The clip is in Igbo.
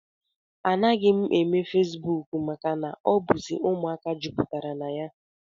Anaghị m eme feesbuk maka na ọ bụzi ụmụaka jupụtara na ya